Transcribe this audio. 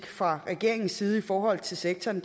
fra regeringens side i forhold til sektoren